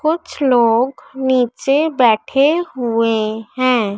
कुछ लोग नीचे बैठे हुए हैं।